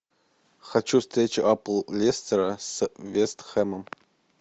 хочу встречу апл лестера с вест хэмом